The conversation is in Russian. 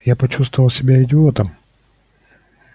я почувствовал себя идиотом